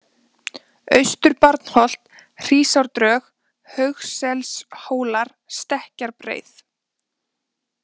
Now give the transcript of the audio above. Austur-Barnholt, Hrísásdrög, Haugsselshólar, Stekkjarbreið